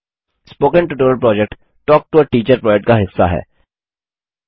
spoken tutorial project talk to a teacher project का हिस्सा है